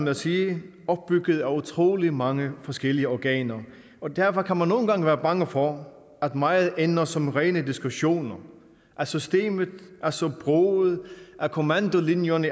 at sige opbygget af utrolig mange forskellige organer derfor kan man nogle gange være bange for at meget ender som rene diskussioner at systemet er så broget og kommandolinjerne